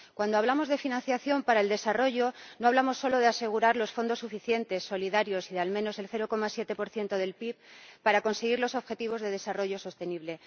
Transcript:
Cuando hablamos de financiación para el desarrollo, no hablamos solo de asegurar los fondos suficientes, solidarios y de al menos el 0,7 del PIB para conseguir los objetivos de desarrollo sostenible.